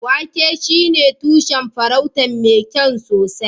wake shine tushen furotin mai kyau sosai